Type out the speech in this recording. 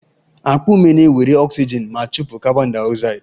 Akpa ume na-ewere oxygen ma chụpụ carbondioxide